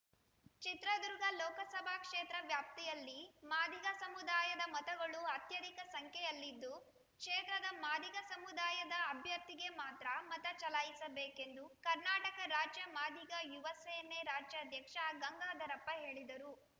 ಚಿತ್ರದುರ್ಗ ಲೋಕಸಭಾ ಕ್ಷೇತ್ರ ವ್ಯಾಪ್ತಿಯಲ್ಲಿ ಮಾದಿಗ ಸಮುದಾಯದ ಮತಗಳು ಅತ್ಯಧಿಕ ಸಂಖ್ಯೆಯಲ್ಲಿದ್ದು ಕ್ಷೇತ್ರದ ಮಾದಿಗ ಸಮುದಾಯದ ಅಭ್ಯರ್ಥಿಗೆ ಮಾತ್ರ ಮತ ಚಲಾಯಿಸಬೇಕೆಂದು ಕರ್ನಾಟಕ ರಾಜ್ಯ ಮಾದಿಗ ಯುವ ಸೇನೆ ರಾಜ್ಯಾಧ್ಯಕ್ಷ ಗಂಗಾಧರಪ್ಪ ಹೇಳಿದರು